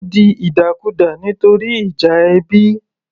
Ó di ìdàkudà nítorí ìjà ẹbí